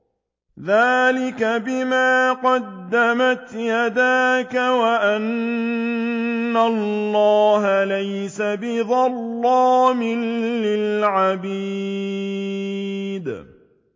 ذَٰلِكَ بِمَا قَدَّمَتْ يَدَاكَ وَأَنَّ اللَّهَ لَيْسَ بِظَلَّامٍ لِّلْعَبِيدِ